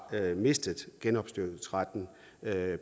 mistet genopdyrkningsretten